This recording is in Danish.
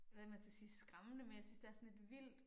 Hvad man skal sige skræmmende men jeg synes det er sådan lidt vildt